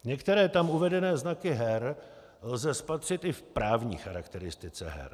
Některé tam uvedené znaky her lze spatřit i v právní charakteristice her.